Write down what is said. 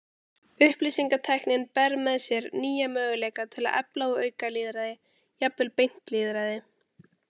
Upplýsingatæknin ber með sér nýja möguleika til að efla og auka lýðræði, jafnvel beint lýðræði.